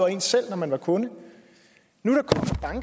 en selv når man var kunde nu